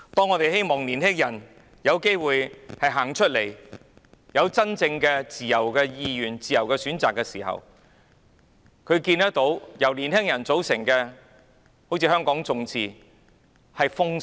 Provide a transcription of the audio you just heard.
我們希望年輕人有機會走出來，按照自由意願行事，作出自由選擇，但我們看到由年輕人組成的團體，例如香港眾志被政府封殺。